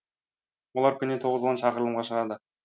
олар күніне тоғыз он шақырылымға шығады